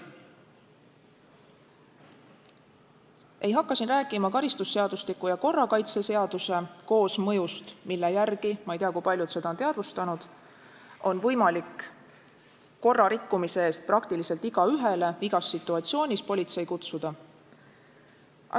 Ma ei hakka siin rääkima karistusseadustiku ja korrakaitseseaduse koosmõjust, mille järgi – ma ei tea, kui paljud seda on teadvustanud – on võimalik korrarikkumise eest praktiliselt igaühele igas situatsioonis politsei kutsuda.